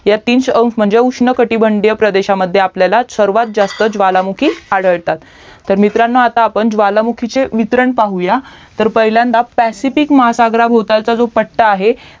ह्या तीस अंश म्हणजे उष्ण कटिबंद प्रदेशमध्ये सर्वात जास्त ज्वालामुखी आढळतात तर मित्रांनो आता आपण ज्वालामुखीचे वितरण पाहूया तर पहिल्यांदा पॅसिफिक महासग्रभौतलचा पट्टा आहे